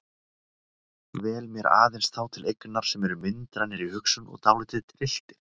Vel mér aðeins þá til eignar sem eru myndrænir í hugsun og dálítið trylltir.